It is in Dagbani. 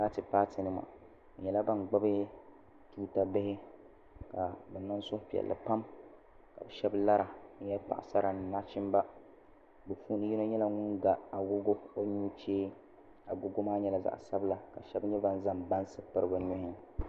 Paati paati nima bɛ nyɛla ban gbubi tuuta bihi ka bɛ niŋ suhupiɛlli pam ka bɛ shɛba lara ka nyɛ paɣisara ni nachimba bɛ puuni yino nyɛla ŋun ga agogo o nuchee agogo maa nyɛla zaɣ'sabila ka shɛba nyɛ ban zaŋ bansi piri bɛ nuhi.